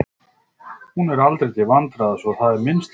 Hún er nú aldrei til vandræða svo að það er minnsta málið.